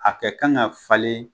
A kɛ kan ka falen